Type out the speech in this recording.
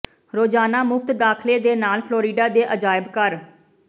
ਰੋਜ਼ਾਨਾ ਮੁਫ਼ਤ ਦਾਖਲੇ ਦੇ ਨਾਲ ਫਲੋਰੀਡਾ ਦੇ ਅਜਾਇਬ ਘਰ